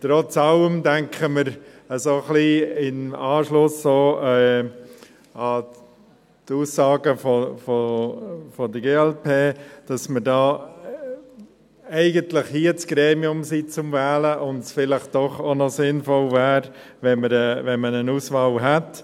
Trotz allem denken wir – auch ein bisschen im Anschluss an die Aussagen der glp –, dass wir hier eigentlich das Gremium für die Wahl wären und es vielleicht doch auch noch sinnvoll wäre, wenn man eine Auswahl hätte.